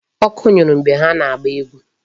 Ọkụ nyụrụ mgbe ha na-agba egwu.